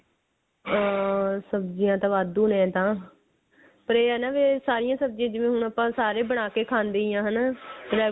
ਹੋਰ ਸਬਜੀਆਂ ਤਾਂ ਵਾਧੂ ਨੇ ਐਂ ਤਾਂ ਪਰ ਇਹ ਹੈ ਨਾ ਵੀ ਸਾਰੀ ਸਬਜੀਆਂ ਜਿਵੇਂ ਹੁਣ ਆਪਾਂ ਸਾਰੇ ਬਣਾਕੇ ਖਾਂਦੇ ਹੀ ਹਾਂ ਹਨਾ regular